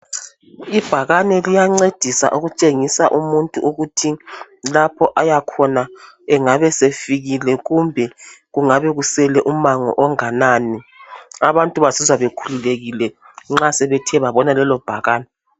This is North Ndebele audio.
Ibhakani liyancedisa ukutshengisa umuntu ukuthi lapho ayakhona angabe esefikile kumbe kungabe kusele umango onganani abantu bazizwa bekhulululekile nxa sebethe babona lelo bhakani.